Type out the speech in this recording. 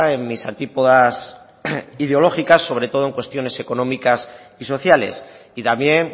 en mis antípodas ideológicas sobre todo en cuestiones económicas y sociales y también